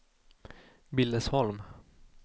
Billesholm